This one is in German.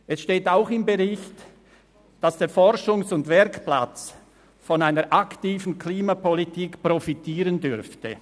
» Es steht auch darin, dass der Forschungs- und Werkplatz von einer aktiven Klimapolitik profitieren dürfte.